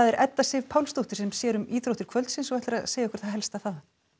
Edda Sif Pálsdóttir sér um íþróttir kvöldsins og ætlar að segja okkur það helsta þaðan